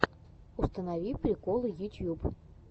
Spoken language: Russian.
установи приколы ютьюб